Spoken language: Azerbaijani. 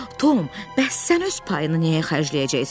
Tom, bəs sən öz payını nəyə xərcləyəcəksən?